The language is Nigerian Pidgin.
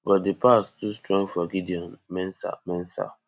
but di pass too strong for gideon mensah mensah